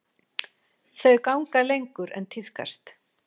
Þau ganga lengur en tíðkast.